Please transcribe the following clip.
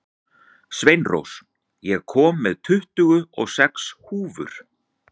Sveinrós, ég kom með tuttugu og sex húfur!